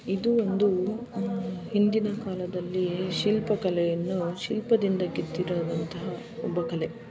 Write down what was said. ಇದು ಒಂದು ಉಮ್ ಹಿಂದಿನ ಕಾಲದಲ್ಲಿ ಶಿಲ್ಪಕಲೆಯನ್ನು ಶಿಲ್ಪದಿಂದ ಕೆತ್ತಿ ರುವಂತಹ ಒಬ್ಬ ಕಲೆ.